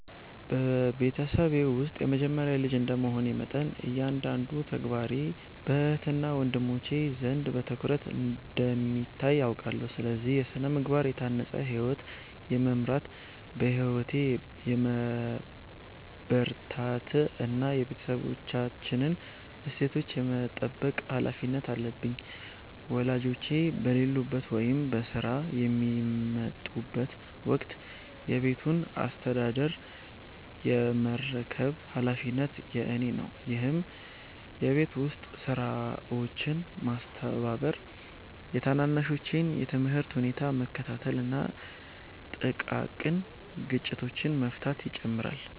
በቤተሰቤ ውስጥ የመጀመሪያ ልጅ እንደ መሆኔ መጠን፤ እያንዳንዱ ተግባሬ በእህትና ወንድሞቼ ዘንድ በትኩረት እንደሚታይ አውቃለሁ። ስለዚህ: በሥነ-ምግባር የታነጸ ሕይወት የመምራት፣ በትምህርቴ የመበርታት እና የቤተሰባችንን እሴቶች የመጠበቅ ኃላፊነት አለብኝ። ወላጆቼ በሌሉበት ወይም በሥራ በሚወጠሩበት ወቅት የቤቱን አስተዳደር የመረከብ ኃላፊነት የእኔ ነው፤ ይህም የቤት ውስጥ ሥራዎችን ማስተባበር፤ የታናናሾቼን የትምህርት ሁኔታ መከታተል እና ጥቃቅን ግጭቶችን መፍታትን ይጨምራል።